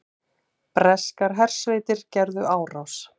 Breskar hersveitir gerðu árás